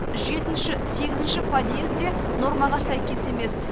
ші ші подъез де нормаға сәйкес емес